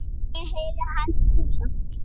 Ég heyri hann brosa.